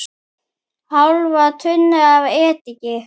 Hálfa tunnu af ediki.